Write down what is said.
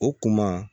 O kuma